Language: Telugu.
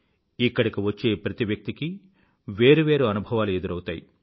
ఇక్కడకు వచ్చే ప్రతి వ్యక్తికీ వేరు వేరు అనుభవాలు ఎదురౌతాయి